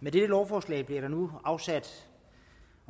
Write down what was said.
med dette lovforslag bliver der nu